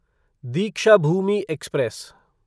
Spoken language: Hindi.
दीक्षाभूमि एक्सप्रेस